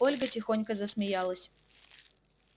ольга тихонько засмеялась